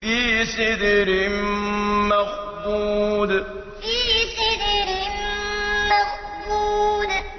فِي سِدْرٍ مَّخْضُودٍ فِي سِدْرٍ مَّخْضُودٍ